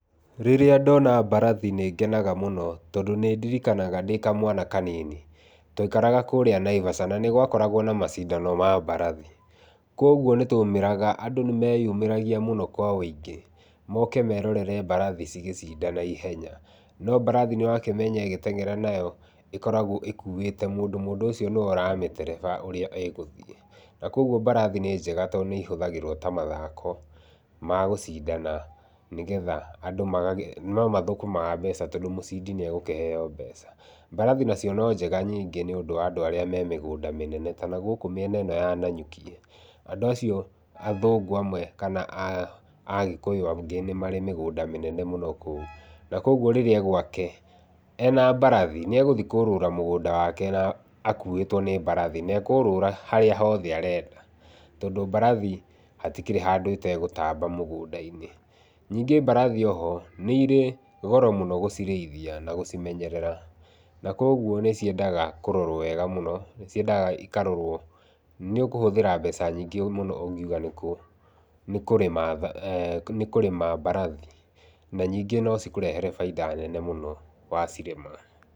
Rĩrĩa ndona mbarathi nĩngenaga mũno tondũ nĩndirikanaga ndĩ kamwana kanini, twaikaraga kũrĩa Naivasha, na nĩgwakoragwo na macindano ma mbarathi, kuoguo nĩ twaumĩraga andũ nĩmeyumĩragia mũno wa wĩingĩ moke merorere mbarathi cigĩcindana ihenya, no mbarathi nĩwakĩmenya ĩgĩteng'era nayo ĩkoragwo ĩkuĩte mũndũ, mũndũ ũcio nĩwe ũramĩtereba ũrĩa ĩgũthiĩ. Na kuoguo mbarathi nĩ njega tondũ nĩihũthagĩrwo ta mathako magũcindana nĩgetha andũ magagĩ no mathũkũmaga mbeca tondũ mũcindi nĩegũkĩheo mbeca. Mbararhi nacio nĩ njega ningĩ nĩ ũndũ wa andũ arĩa me mĩgũnda mĩnene, ta nagũkũ mĩena ĩno ya Nanyuki, andũ acio, athũngũ amwe kana Agĩkũyũ angĩ nĩ marĩ mĩgũnda mĩnene mũno kũu. Na kuoguo rĩrĩa e gwake, ena mbarathi nĩegũthiĩ kũrũra mũgũnda wake na akuĩtwo nĩ mbarathi, na ekũrũra harĩa hothe arenda, tondũ mbarathi hatikĩrĩ handũ ĩtegũtamba mũgũnda-inĩ. Ningĩ mbarathi oho nĩirĩ goro mũno gũcirĩithia na gũcimenyerera, na kuoguo nĩciendaga kũrorwo wega mũno, nĩciendaga ikarorwo. Nĩ ũkũhũthĩra mbeca nyingĩ mũno ũngĩuga nĩ kũ nĩ kũrĩma, nĩ kũrĩma mbarathi, na ningĩ no cikũrehere bainda nene mũno wacirĩma.